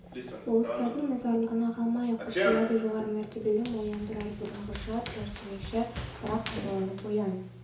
болыстардың наразылығына қалмайық құп болады жоғары мәртебелім оян тұрар бұрынғыша тұраш демекші еді бірақ қайталап оян